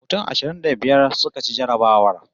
Mutum ashirin da biyar suka ci jarrabawar